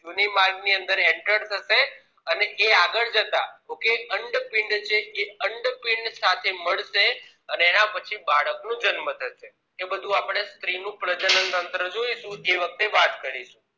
યોની માર્ગ ની અંદર entered થશે અને એ આગળ જતા okay અંડપીંડ એ અંડપીંડ સાથે મળશે અને એના પછી બાળક નું જન્મ થશે એ બધું સ્ત્રી નું પ્રજનનતંત્ર જોઈશું એ વખતે વાત કરીશું